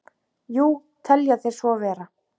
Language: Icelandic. Jú, þeir telja svo vera.